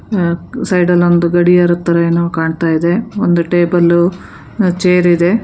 ಆ ಸೈಡ್ ಅಲ್ ಒಂದು ಗಡಿಯಾರದ್ ತರ ಏನೋ ಕಾಣ್ತಾ ಇದೆ ಒಂದು ಟೇಬಲು ಒಂದು ಚೇರ್ ಇದೆ.